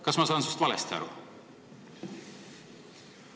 Kas ma saan sust valesti aru?